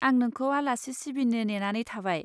आं नोंखौ आलासि सिबिनो नेनानै थाबाय।